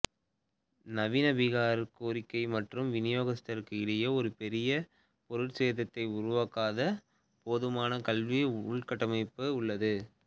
நவீன பீகார் கோரிக்கை மற்றும் விநியோகத்திற்கும் இடையே ஒரு பெரிய பொருட்சேதத்தை உருவாக்காத போதுமான கல்வி உள்கட்டமைப்பு உள்ளது